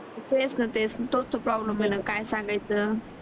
तेच न तेच न तोच तर प्रूब्लेम आहेत न काय सांगायचं